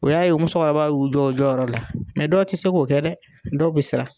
O y'a ye o musokɔrɔba y'u jɔ u jɔyɔrɔ la mɛ dɔ ti se k'o kɛ dɛ dɔw bi siran